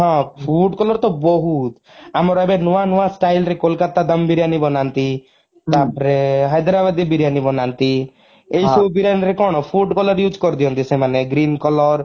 ହଁ food color ତ ବହୁତ ଆମର ଏବେ ନୂଆ ନୂଆ style ରେ କୋଲକାତା ଦମ ବିରୟାନୀ ବନାନ୍ତି ତାପରେ ହାଇଦଡ଼ାବାଦୀ ବିରୟାନୀ ବନାନ୍ତି ଏଇ ସବୁ ବିରୟାନୀରେ କଣ food color use କରିଦିଅନ୍ତି ସେମାନେ green color